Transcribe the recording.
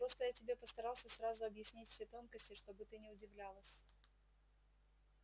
просто я тебе постарался сразу объяснить все тонкости чтобы ты не удивлялась